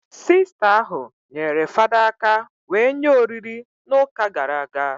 Sista ahụ nyere fada aka wee nye oriri na ụka gara aga